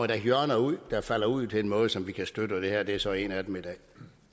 da hjørner der falder ud på en måde som vi kan støtte og det her i dag er så et af dem